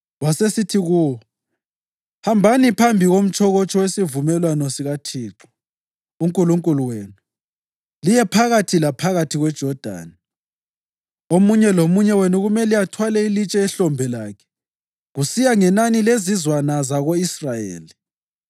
Wasesithi kuwo, “Hambani phambi komtshokotsho wesivumelwano sikaThixo uNkulunkulu wenu liye phakathi laphakathi kweJodani. Omunye lomunye wenu kumele athwale ilitshe ehlombe lakhe, kusiya ngenani lezizwana zako-Israyeli,